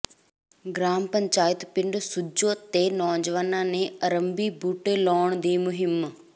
gram panchayat ਪਿੰਡ ਸੁੱਜੋਂ ਤੇ ਨੌਜਵਾਨਾਂ ਨੇ ਆਰੰਭੀ ਬੂਟੇ ਲਗਾਉਣ ਦੀ ਮੁਹਿੰਮ